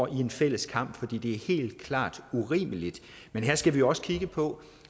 i en fælles kamp for det er helt klart urimeligt men her skal vi også kigge på